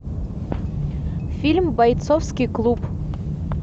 фильм бойцовский клуб